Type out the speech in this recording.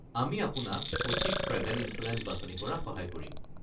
আমি আপোনাক সঠিক ট্ৰেভেল ইনছুৰেঞ্চ বাছনি কৰাত সহায় কৰিম।